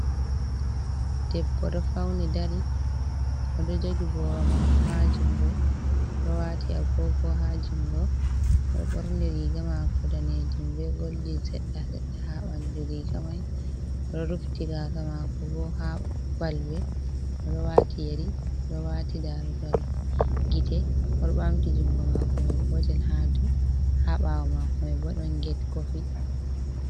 Ɗebbo oɗo fauni dari, odo jogi boro mako ha jungo, oɗo wati agogo ha jungo, oɗo ɓorni riga mako danejum be goldin sedda sedda ha ɓandu riga mai, oɗo rufiti gasa mako bo ha balbe, oɗo wati yari, oɗo wati darugal gite, oɗo ɓamti jungo mako mai gotel, ha ɓawo mako mai bo ɗon get kofii.